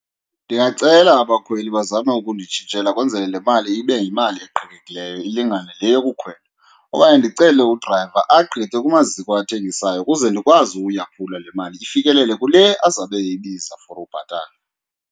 Ndingacela abakhweli bazame ukunditshintshela kwenzele le mali ibe yimali eqhekekileyo ilingane le yokukhwela, okanye ndicele udrayiva agqithe kumaziko athengisayo ukuze ndikwazi uyaphula le mali ifikelele kule azabe eyibiza for ubhatala.